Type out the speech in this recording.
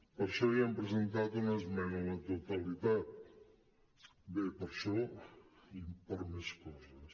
per això hi hem presentat una esmena a la totalitat bé per això i per més coses